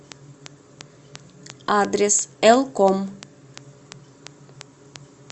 адрес элком